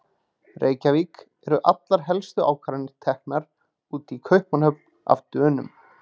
Reykjavík, eru allar helstu ákvarðanir teknar úti í Kaupmannahöfn- af Dönum.